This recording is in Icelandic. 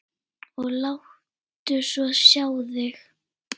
Og láttu svo sjá þig.